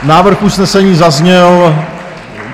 Návrh usnesení zazněl.